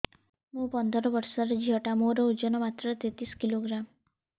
ମୁ ପନ୍ଦର ବର୍ଷ ର ଝିଅ ଟା ମୋର ଓଜନ ମାତ୍ର ତେତିଶ କିଲୋଗ୍ରାମ